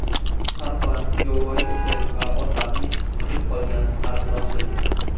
Tarpan, yovvoyi eshak va otlarning tirik qolgan qarindoshi.